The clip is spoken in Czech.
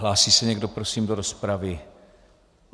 Hlásí se někdo prosím do rozpravy?